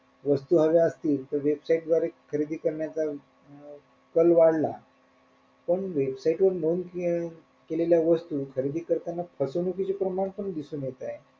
वस्तू हव्या असतील तर website द्वारे खरेदी करण्याचा अं कल वाढला पण website वर नोंद केले केलेल्या वस्तू खरेदी करताना फसवणूकीचे प्रमाण पण दिसून येत आहे.